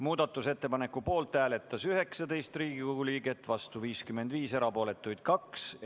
Muudatusettepaneku poolt hääletas 19 Riigikogu liiget, vastu 55, erapooletuid oli 2.